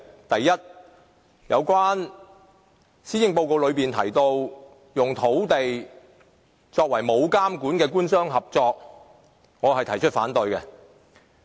第一，有關施政報告提到的那種沒有監管的官商合作土地發展方式，我是反對的。